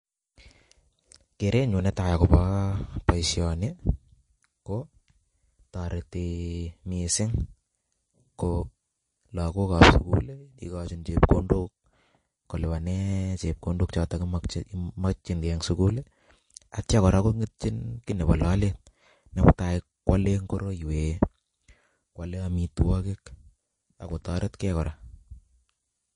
Keren nyu netai akobo boisioni ko toreti missing, Ko lagokab skull ikojin chepkondok kolipane chepkondok choto chemokjingei eng skull, Atya kora kongetyin kiy nebo lolet ne mutai koale ngoroi wee kwole amitwokik ako toretkei kora.